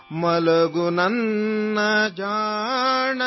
''سو جاؤ، سو جاؤ، بیبی،